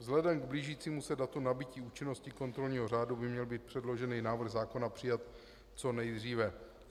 Vzhledem k blížícímu se datu nabytí účinnosti kontrolního řádu by měl být předložený návrh zákona přijat co nejdříve.